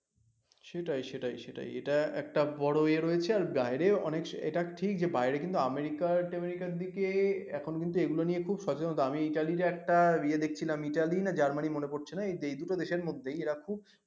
সেটাই সেটাই সেটাই এটা একটা বড় ইয়ে রয়েছে আর বাইরে এটা ঠিক যে বাইরে কিন্তু আমেরিকার টেমেরিকার দিকে এখন কিন্তু এগুলো নিয়ে খুব সচেতনতা আমি ইতালিতে একটা ইয়ে দেখছিলাম ইতালি না জার্মানি মনে পড়ছে না এই দুটো দেশের মধ্যেই এরা খুব